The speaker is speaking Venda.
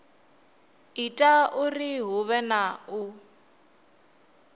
ita uri huvhe na u